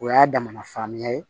O y'a damana fanya ye